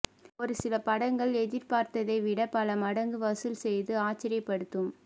ஒரு சில படங்கள் எதிர்ப்பார்த்ததை விட பல மடங்கு வசூல் செய்து ஆச்சரியப்படுத்தும்